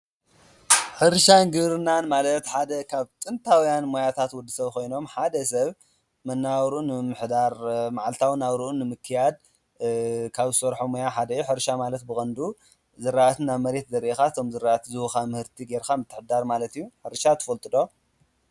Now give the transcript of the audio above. ሕርሻ ንግብርናን ማለት ሓደ ካብ ጥንታውያን ሞያታት ወዲ ሰብ ኾይኖም ሓደ ሰብ መነባብሮኦም ንምምሕዳር መዓልታዊ ናብርኡ ንምክያድ ካብ ዝሰርሖ ሞያ ሓደ እዮ፡፡ ሕርሻ ማለት ብቐንዱ ዝራእት ናብ መሬት ዘርእኻ እቶም ዝራእቲ ዝቡኻ ምህርቲ ጌርኻ ምትሕድዳር ማለት እዩ ፡፡ሕርሻ ትፈልጡ ዶ?